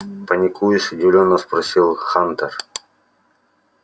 паникуешь удивлённо спросил хантер